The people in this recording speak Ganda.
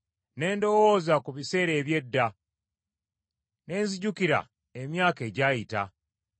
Ne ndowooza ku biseera eby’edda, ne nzijukira emyaka egyayita.